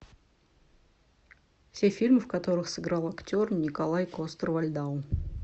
все фильмы в которых сыграл актер николай костер вальдау